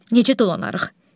Necə dolanarıq?